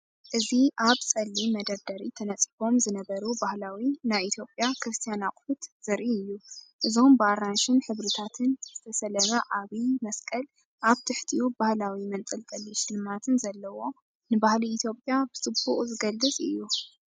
እዚ ኣብ ጸሊም መደርደሪ ተነጺፎም ዝነበሩ ባህላዊ ናይ ኢትዮጵያ ክርስትያን ኣቑሑት ዘርኢ እዩ። እዞም ብኣራንሺን ሕብርታትን ዝተሰለመ ዓቢ መስቀል፡ ኣብ ትሕቲኡ ባህላዊ መንጠልጠሊ ሽልማትን ዘለዎ፡ ንባህሊ ኢትዮጵያ ብጽቡቕ ዝገልጽ እዩ።